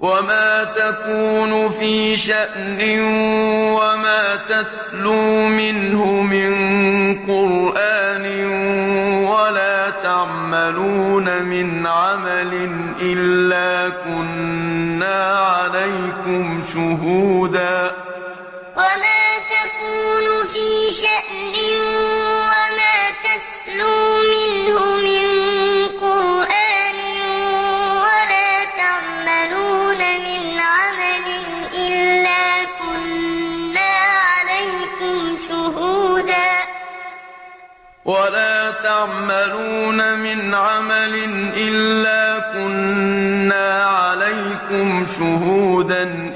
وَمَا تَكُونُ فِي شَأْنٍ وَمَا تَتْلُو مِنْهُ مِن قُرْآنٍ وَلَا تَعْمَلُونَ مِنْ عَمَلٍ إِلَّا كُنَّا عَلَيْكُمْ شُهُودًا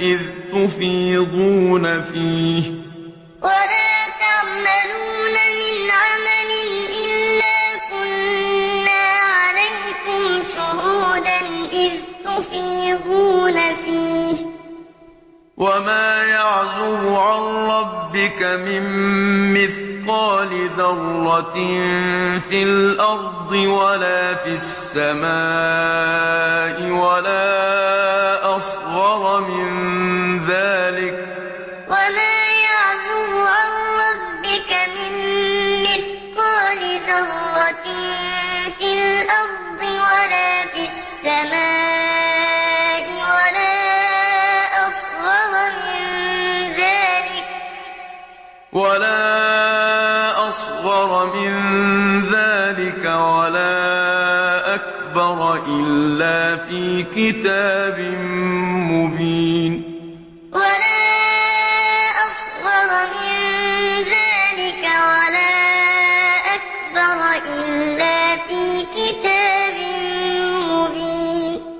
إِذْ تُفِيضُونَ فِيهِ ۚ وَمَا يَعْزُبُ عَن رَّبِّكَ مِن مِّثْقَالِ ذَرَّةٍ فِي الْأَرْضِ وَلَا فِي السَّمَاءِ وَلَا أَصْغَرَ مِن ذَٰلِكَ وَلَا أَكْبَرَ إِلَّا فِي كِتَابٍ مُّبِينٍ وَمَا تَكُونُ فِي شَأْنٍ وَمَا تَتْلُو مِنْهُ مِن قُرْآنٍ وَلَا تَعْمَلُونَ مِنْ عَمَلٍ إِلَّا كُنَّا عَلَيْكُمْ شُهُودًا إِذْ تُفِيضُونَ فِيهِ ۚ وَمَا يَعْزُبُ عَن رَّبِّكَ مِن مِّثْقَالِ ذَرَّةٍ فِي الْأَرْضِ وَلَا فِي السَّمَاءِ وَلَا أَصْغَرَ مِن ذَٰلِكَ وَلَا أَكْبَرَ إِلَّا فِي كِتَابٍ مُّبِينٍ